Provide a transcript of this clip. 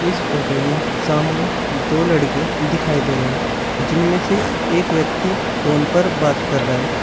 इस फोटो में सामने दो लड़के दिखाई दे रहे हैं जिनमें से एक व्यक्ति फोन पर बात कर रहा है।